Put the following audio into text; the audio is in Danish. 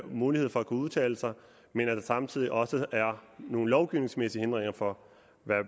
mulighed for at udtale sig men at der samtidig også er nogle lovgivningsmæssige hindringer for